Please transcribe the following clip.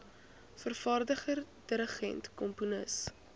vervaardiger dirigent komponis